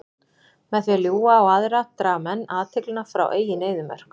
Með því að ljúga á aðra draga menn athyglina frá eigin eyðimörk.